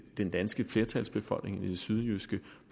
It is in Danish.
den danske flertalsbefolkning i det sydjyske